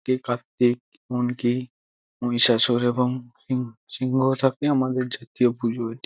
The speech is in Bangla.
কার্তিক এমনকি মহিষাসুর এবং সি-সিংহও থাকে আমাদের জাতীয় পশু এটি।